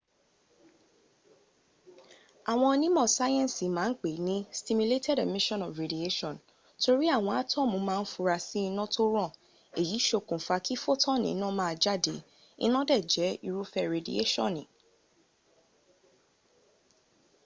àwọn onímọ̀ sáyẹ́nsì ma n pè ní stimulated emission of radiation” torí àwọn átọ́mù ma ń fura sí iná tó ràn èyí ṣokùn fa kí fotoni ina maa jáde, iná dẹ̀ jẹ́ irúfẹ́ redieṣọ́ni